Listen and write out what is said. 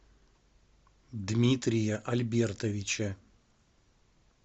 дмитрия альбертовича